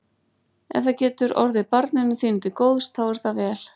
Ef það getur orðið barninu þínu til góðs þá er það vel.